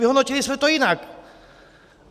Vyhodnotili jsme to jinak!